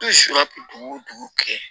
dugu o dugu kɛ